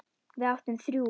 Við áttum þrjú.